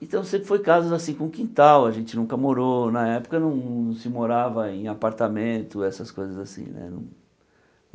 Então sempre foram casas com quintal, a gente nunca morou na época, não se morava em apartamento, essas coisas assim né.